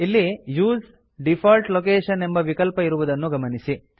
ಇಲ್ಲಿ use default location ಎಂಬ ವಿಕಲ್ಪ ಇರುವುದನ್ನು ಗಮನಿಸಿ